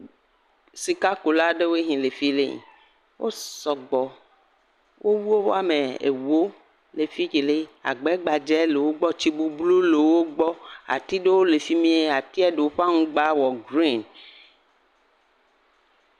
Sikakula aɖewo si le fi ɖe. wo sɔgbɔ. Wowu woame ewo le fikele, gbɛgbadza le wogbɔ, tsi bublu le wogbɔ, ati aɖe le efi m]. Atia ɖewo ƒe amgba wɔ gren